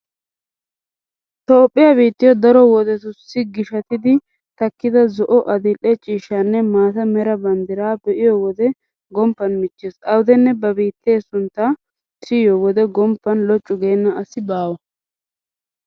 Toophphiya biittiyo daro wodetussi gishshatiiddi takkida zo"o, adil"e ciishshanne maata mera banddiraa be'iyo wode gomppan michchees. Awudenne ba biitta sunttaa siyiyo wode gomppan loccu geenna asi baawa.